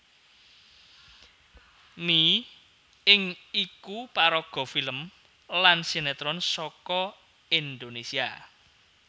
Mi Ing iku paraga film lan sinétron saka Indonésia